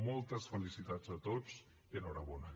moltes felicitats a tots i enhorabona